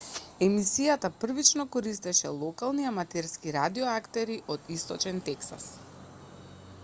емисијата првично користеше локални аматерски радио актери од источен тексас